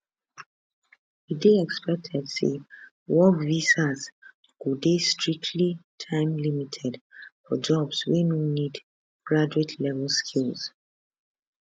e dey expected say work visas go dey strictly timelimited for jobs wey no need graduatelevel skills